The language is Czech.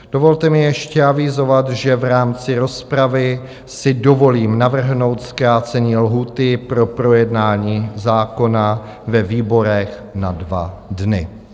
Dovolte mi ještě avizovat, že v rámci rozpravy si dovolím navrhnout zkrácení lhůty pro projednání zákona ve výborech na 2 dny.